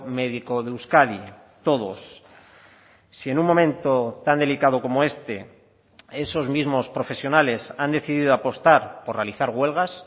médico de euskadi todos si en un momento tan delicado como este esos mismos profesionales han decidido apostar por realizar huelgas